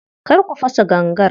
Kar ku fasa gangar.